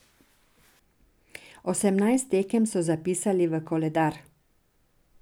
Osemnajst tekem so zapisali v koledar.